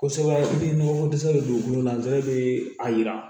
Kosɛbɛ i bɛ nɔgɔ ko dɛsɛ de don dugukolo la dɔrɔn bɛ a yira